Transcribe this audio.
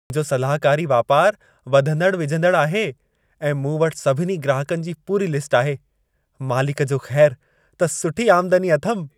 मुंहिंजो सलाहकारी वापारु वधंदड़ु वीझंदड़ु आहे, ऐं मूं वटि सभिनी ग्राहकनि जी पूरी लिस्ट आहे। मालिक जो ख़ैरु, त सुठी आमदनी अथमि।